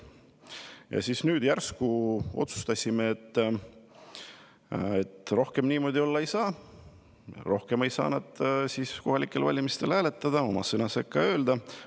Ja nüüd järsku me otsustame, et rohkem niimoodi olla ei saa, rohkem ei saa nad kohalikel valimistel hääletada, oma sõna sekka öelda.